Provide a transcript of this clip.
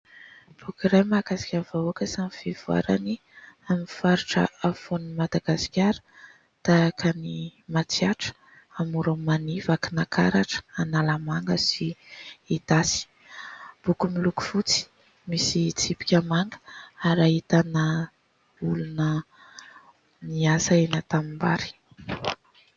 Boky iray mahakasika ny vahoaka sy ny fivoarany amin'ny faritra afovoan'ny Madagasikara tahaka ny Matsiatra, Amoron'i Mania, Vakinankaratra, Analamanga sy Itasy. Boky miloko fotsy, misy tsipika manga ary ahitana olona miasa eny an-tanimbary.